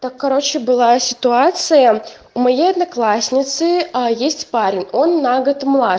так короче была ситуация у моей одноклассницы есть парень он на год младше